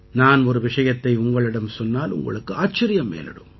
நான் ஒரு விஷயத்தை உங்களிடம் சொன்னால் உங்களுக்கு ஆச்சரியம் மேலிடும்